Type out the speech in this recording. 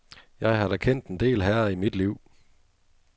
Jeg har da kendt en del herrer i mit liv.